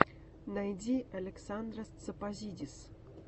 найди александрос тсопозидис